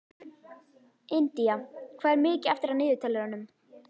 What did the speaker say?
Indía, hvað er mikið eftir af niðurteljaranum?